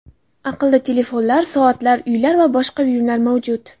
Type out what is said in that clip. Aqlli telefonlar, soatlar, uylar va boshqa buyumlar mavjud.